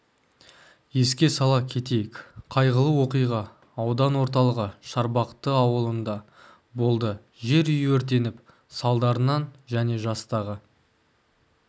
еске сала кетейік қайғылы оқиға аудан орталығы шарбақты ауылында болды жер үй өртеніп салдарынан және жастағы